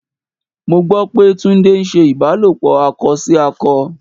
Mo gbọ́ pé Túndé ń ṣe ìbálòpọ̀ akọ sí akọ.